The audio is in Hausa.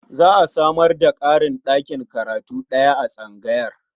Za a samar da ƙarin ɗakin karatu ɗaya a tsangayar.